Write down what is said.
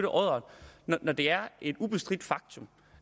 af oddere når det er et ubestridt faktum